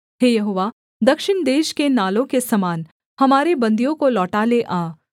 हे यहोवा दक्षिण देश के नालों के समान हमारे बन्दियों को लौटा ले आ